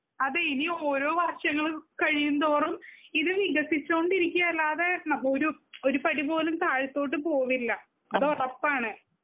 അതെ ഇനി ഓരോ വർഷങ്ങൾ കഴിയുംന്തോറും ഇത് വികസിച്ചോണ്ടിരിക്കയല്ലാതെ ഒരു ഒരുപടിപോലും താഴത്തോട്ട് പോവില്ല. അതോറപ്പാണ്.